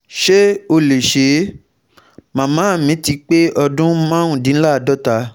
Ṣé ó lè ṣe é? màmá mi ti pé ọdún márùndínláàádọ́ta